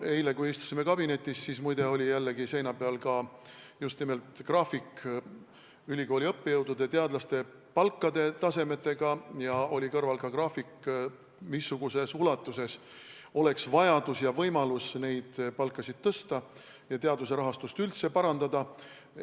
Eile, kui me istusime kabinetis, siis muide oli jällegi meil seina peal ka just nimelt ülikooli õppejõudude ja teadlaste palgatasemete graafik ja seal kõrval oli graafik, missuguses ulatuses oleks vaja ja võimalik neid palku tõsta ning teaduse rahastust üldse parandada.